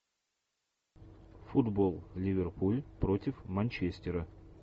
футбол ливерпуль против манчестера